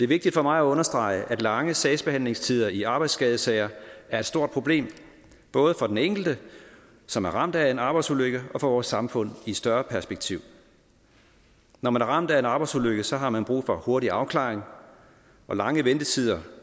vigtigt for mig at understrege at lange sagsbehandlingstider i arbejdsskadesager er et stort problem både for den enkelte som er ramt af en arbejdsulykke og for vores samfund i større perspektiv når man er ramt af en arbejdsulykke har man brug for hurtig afklaring og lange ventetider